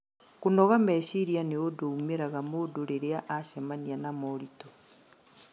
Kũnoga meciria nĩ ũndũ umĩraga mũndũ rĩrĩa acemania na moritũ